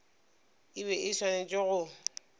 e be e swanetše go